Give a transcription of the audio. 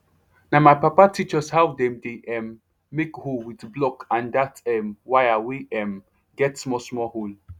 na my papa teach us how dem dey um make hole with block and that um wire wey um get small small hole